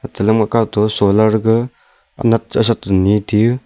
chelam ga kau to solar gaga anat che asat nii taiyu.